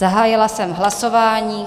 Zahájila jsem hlasování.